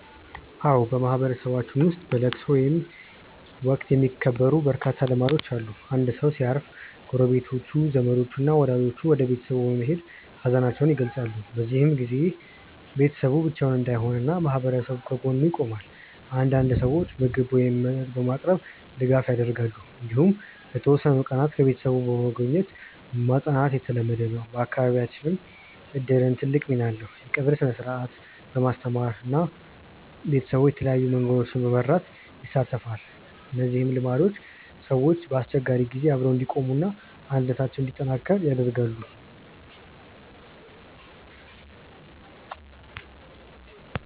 አዎ፣ በማህበረሰባችን ውስጥ በለቅሶ ወቅት የሚከበሩ በርካታ ልማዶች አሉ። አንድ ሰው ሲያርፍ ጎረቤቶች፣ ዘመዶች እና ወዳጆች ወደ ቤተሰቡ በመሄድ ሀዘናቸውን ይገልጻሉ። በዚህ ጊዜ ቤተሰቡ ብቻውን እንዳይሆን ማህበረሰቡ ከጎኑ ይቆማል። አንዳንድ ሰዎች ምግብ ወይም መጠጥ በማቅረብ ድጋፍ ያደርጋሉ። እንዲሁም ለተወሰኑ ቀናት ቤተሰቡን በመጎብኘት ማጽናናት የተለመደ ነው። በአካባቢያችን እድርም ትልቅ ሚና አለው፤ የቀብር ሥነ-ሥርዓቱን በማስተባበር እና ቤተሰቡን በተለያዩ መንገዶች በመርዳት ይሳተፋል። እነዚህ ልማዶች ሰዎች በአስቸጋሪ ጊዜ አብረው እንዲቆሙ እና አንድነታቸውን እንዲያጠናክሩ ይረዳሉ።